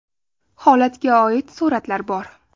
Holatga oid suratlar bor.